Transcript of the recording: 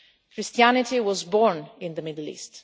Christianity was born in the Middle East.